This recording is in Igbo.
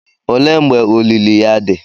Olee mgbe olili ya dị?